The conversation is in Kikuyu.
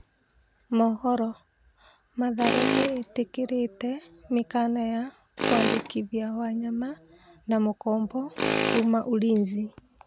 (Mohoro) Mathare nĩĩtĩkĩrĩte mĩkana ya kwandĩkithia Wanyama na mũkombo kuma Ulinzi.